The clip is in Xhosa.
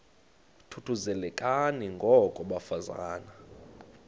thuthuzelekani ngoko bafazana